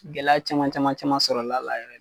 Gɛlɛya caman caman caman sɔrɔla la